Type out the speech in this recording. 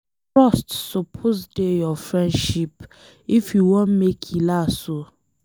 Trust suppose dey your friendship if you wan make e last oo.